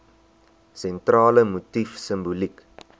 sentrale motief simboliek